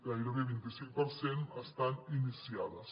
gairebé vint i cinc per cent estan iniciades